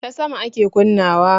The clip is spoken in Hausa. Ta sama ake kunna wa